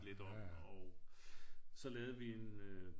Lidt om og så lavede vi en øh